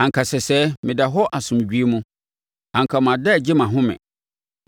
Anka sɛsɛɛ meda hɔ asomdwoeɛ mu; anka mada regye mʼahome